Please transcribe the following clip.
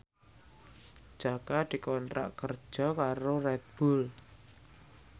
Jaka dikontrak kerja karo Red Bull